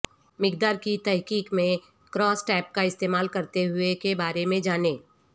مقدار کی تحقیق میں کراس ٹیب کا استعمال کرتے ہوئے کے بارے میں جانیں